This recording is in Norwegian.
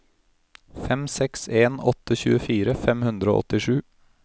fem seks en åtte tjuefire fem hundre og åttisju